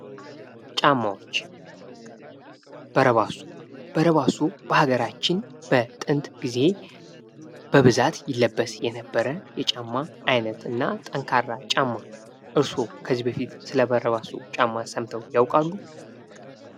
ጫማዎች። በረባሶ። በረባሶ በሀገራችን በጥንት ጊዜ ይለበስ የነበረ የጫማ አይነት እና ጠንካራ ጫማ። እርሶ ከዚህ በፊት ስለ በረባሶ ጫማ ሰምተው ያቃሉ?